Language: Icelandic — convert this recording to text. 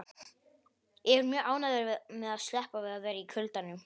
Ég er mjög ánægður með að sleppa við að vera í kuldanum.